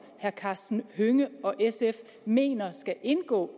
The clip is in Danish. herre karsten hønge og sf mener skal indgå